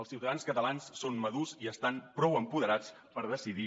els ciutadans catalans són madurs i estan prou apoderats per decidir